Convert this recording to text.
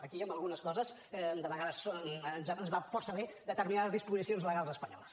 aquí en algunes coses de vegades ens van força bé determinades disposicions legals espanyoles